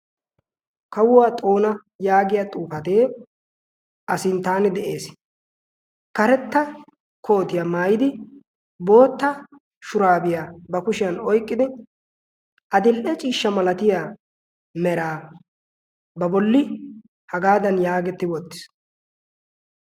kawuwaa xoona yaagiya xuufatee a sinttaane de'ees karetta kootiyaa maayidi bootta shuraabiyaa ba kushiyan oyqqidi adil''e ciishsha malatiya meraa ba bolli hagaadan yaagetti wottiis